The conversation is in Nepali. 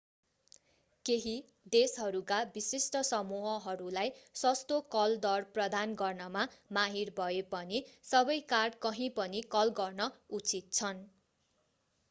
केहि देशहरूका विशिष्ट समूहहरूलाई सस्तो कल दर प्रदान गर्नमा माहिर भए पनि सबै कार्ड कहिँपनि कल गर्न उचित छन्